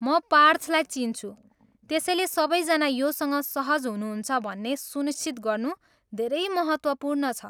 म पार्थलाई चिन्छु, त्यसैले सबैजना योसँग सहज हुनुहुन्छ भन्ने सुनिश्चित गर्नु धेरै महत्त्वपूर्ण छ।